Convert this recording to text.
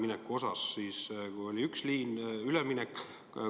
Kui oli üks liin, siis üleminek.